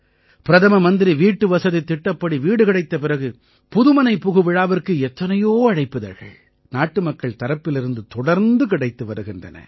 பிரதம மந்திரி வீட்டுவசதித் திட்டப்படி வீடு கிடைத்த பிறகு புதுமனைப் புகுவிழாவிற்கு எத்தனையோ அழைப்பிதழ்கள் நாட்டுமக்கள் தரப்பிலிருந்து தொடர்ந்து கிடைத்து வருகின்றன